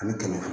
An bɛ tɛmɛ